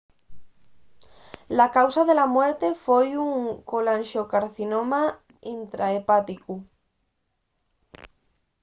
la causa de la muerte foi un colanxocarcinoma intrahepáticu